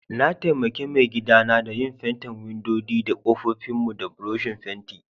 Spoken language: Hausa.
Na taimake maigida na da yin fentin windodi da kofofin mu da buroshin fenti.